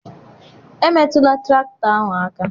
emetụla traktọ ahụ aka